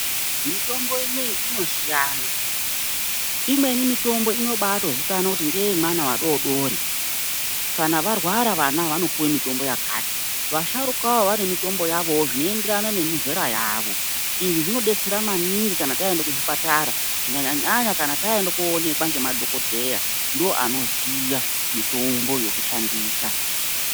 Mitombo inoyi inosiyana. Imweni mitombo inobaatozikanwa kuti ngeyevana vadoodori, kana varwara vana ava vanopuwe mitombo yakati. Vasharukawo vanemitombo yavowo zvinoenderana nemizera yavo. Izvi zvinodetsera maningi kana taenda kuzvipatara. Kunyanya-nyanya kana taenda kooonekwa ngemadhogodheya, ndooanoziya mitombo yokushandisa.